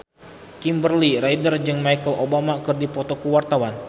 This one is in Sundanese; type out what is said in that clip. Kimberly Ryder jeung Michelle Obama keur dipoto ku wartawan